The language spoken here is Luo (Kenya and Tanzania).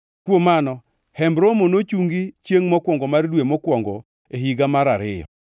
Kuom mano Hemb Romo nochungi chiengʼ mokwongo mar dwe mokwongo e higa mar ariyo.